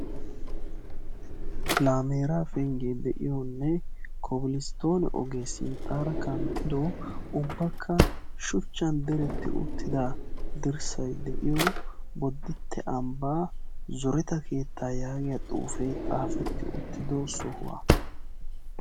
Laamera penggiyaa de'iyo Kobilsttoonne ogee sinttara kanttido ubbakka shuchchan diretta uttida dirssay de'iyo Bodditte ambba zoretta keettaa yaagiyaa xuufe xaafeti uttido sohuwaa.